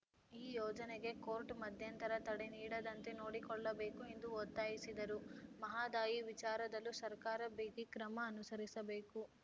ಈ ಯೋಜನೆಗೆ ಕೋರ್ಟ್‌ ಮಧ್ಯಂತರ ತಡೆ ನೀಡದಂತೆ ನೋಡಿಕೊಳ್ಳಬೇಕು ಎಂದು ಒತ್ತಾಯಿಸಿದರು ಮಹದಾಯಿ ವಿಚಾರದಲ್ಲೂ ಸರ್ಕಾರ ಬಿಗಿಕ್ರಮ ಅನುಸರಿಸಬೇಕು